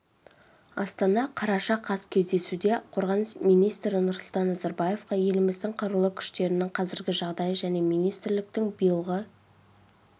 астана қараша қаз кездесуде қорғаныс министрі нұрсұлтан назарбаевқа еліміздің қарулы күштерінің қазіргі жағдайы және министрліктің биылғы